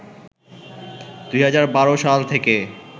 ২০১২ সাল থেকে